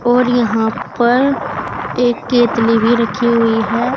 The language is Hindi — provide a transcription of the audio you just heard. और यहां पर एक केतली भी रखी हुई है।